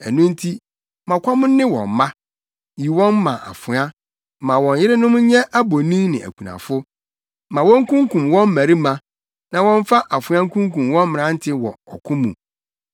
Ɛno nti, ma ɔkɔm nne wɔn mma; yi wɔn ma afoa. Ma wɔn yerenom nyɛ abonin ne akunafo; ma wonkunkum wɔn mmarima, na wɔmfa afoa nkunkum wɔn mmerante wɔ ɔko mu.